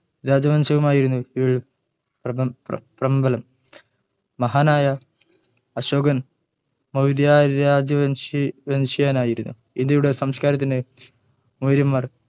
രാജവംശവുമായിരുന്നു ഇവയിൽ മഹാനായ അശോകൻ മൗര്യരാജവംശീയനായിരുസംസകാരത്തിന്ന്നു മൗര്യന്മാര് ഇന്ത്യയുടെ മൗര്യന്മാർ